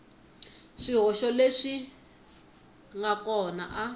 swihoxo leswi n kona a